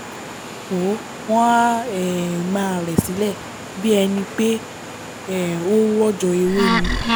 wọ́ wọ́n á um máa rẹ̀ sílẹ̀ bí ẹni pé um ó nrọ̀jò ewé ni